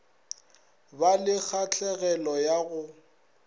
ba le kgahlegelo ya go